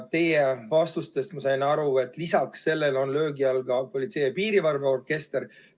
Teie vastustest ma sain aru, et lisaks sellele on löögi all ka Politsei- ja Piirivalveorkester.